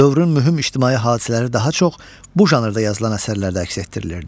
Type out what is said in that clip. Dövrün mühüm ictimai hadisələri daha çox bu janrda yazılan əsərlərdə əks etdirilirdi.